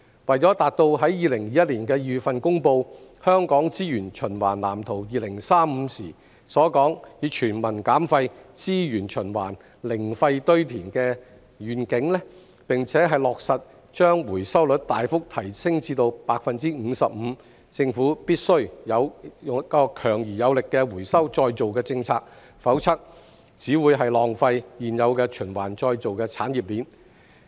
為達到在2021年2月公布《香港資源循環藍圖2035》時所說"全民減廢.資源循環.零廢堆填"的願景，並落實把回收率大幅提升至 55%， 政府必須有強而有力的回收再造政策，否則只會浪費現有的循環再造產業鏈。